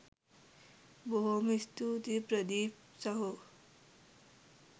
බොහොම ස්තූතියි ප්‍රදීප් සහෝ